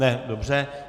Ne, dobře.